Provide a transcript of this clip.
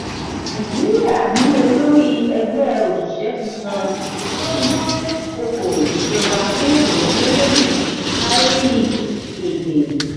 nàìjíríà ní olórí ẹgbẹ oṣiṣẹ tuntun tó dún-kókò ìjọba fún iyanse lodi kárí èdè.